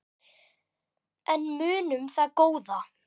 En munum það góða.